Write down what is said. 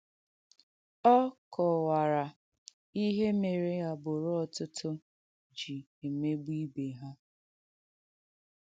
Ọ kọ̀wàrà ihè mèrè àgbùrù ọ̀tụ̀tụ̀ ji emegbù ibè ha.